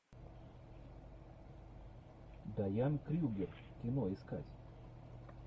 даян крюгер кино искать